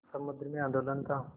समुद्र में आंदोलन था